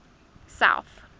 south